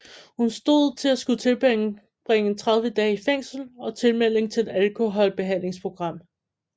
Hun stod til at skulle tilbringe 30 dage i fængsel og tilmelding til et alkoholbehandlingsprogram